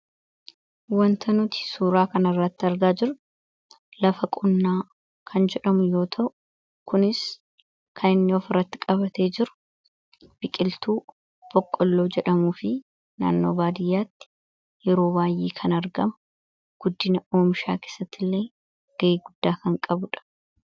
Wanta nuti suuraa kan irratti argaa jirru lafa qonnaa kan jedhamu yoo ta'u kunis kan inni of irratti qabatee jiru biqiltuu boqqolloo jedhamu fi naannoo baadiyyaatti yeroo baay, ee kan argamu. Guddina oomshaa keessatti illee ga'ee guddaa kan qabuudha.